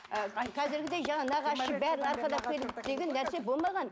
ы қазіргідей жаңағы нағашысы бәрін арқалап келу деген нәрсе болмаған